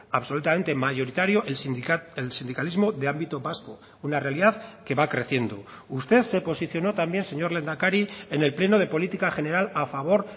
absolutamente mayoritario el sindicalismo de ámbito vasco una realidad que va creciendo usted se posicionó también señor lehendakari en el pleno de política general a favor